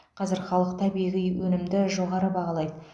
қазір халық табиғи өнімді жоғары бағалайды